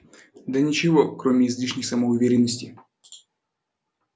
да ничего кроме излишней самоуверенности